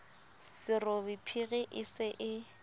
serobe phiri e se e